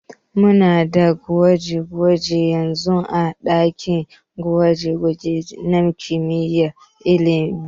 Muna da gwaje-gwaje yanzun ã dakin gwaje-gwaje nã kimiyyar lissafi.